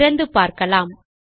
திறந்து பார்க்கலாம்